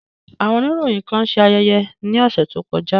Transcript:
Awọn oniroyin kan ṣe ayẹyẹ ni ọsẹ to kọja.